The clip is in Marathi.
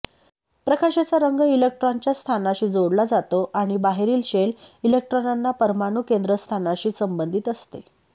प्रकाशाचा रंग इलेक्ट्रॉनच्या स्थानाशी जोडला जातो आणि बाहेरील शेल इलेक्ट्रॉनांना परमाणु केंद्रस्थानाशी संबंधित असते